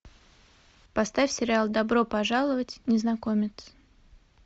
поставь сериал добро пожаловать незнакомец